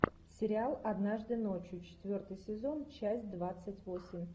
сериал однажды ночью четвертый сезон часть двадцать восемь